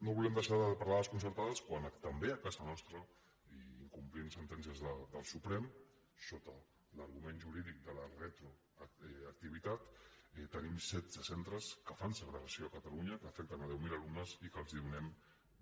no volem deixar de parlar de les concertades quan també a casa nostra i incomplint sentències del suprem sota l’argument jurídic de la retroactivitat tenim setze centres que fan segregació a catalunya que afecten deu mil alumnes i que els donem